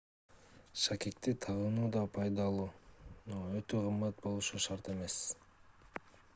шакекти тагынуу да пайдалуу өтө кымбат болушу шарт эмес